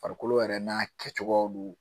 Farikolo yɛrɛ n'a kɛcogoyaw don